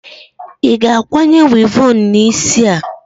Ị ga-akwanye wivọọnụ n'isi a!